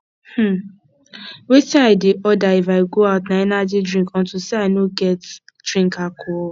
um wetin i dey order if i go out na energy drink unto say i no get drink alcohol